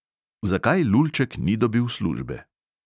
Zakaj lulček ni dobil službe?